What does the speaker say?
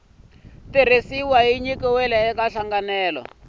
tirhisiwa ya nyikiwile eka nhlanganelo